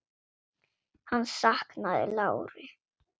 Hann saknaði láru.